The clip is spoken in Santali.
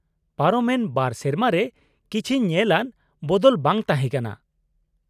-ᱯᱟᱨᱚᱢ ᱮᱱ ᱒ ᱥᱮᱨᱢᱟ ᱨᱮ ᱠᱤᱪᱷᱤ ᱧᱮᱞ ᱟᱱ ᱵᱚᱫᱚᱞ ᱵᱟᱝ ᱛᱟᱦᱮᱸ ᱠᱟᱱᱟ ᱾